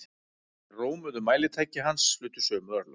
Hin rómuðu mælitæki hans hlutu sömu örlög.